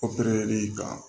kan